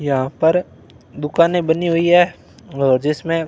यहां पर दुकानें बनी हुई है अ जिसमें--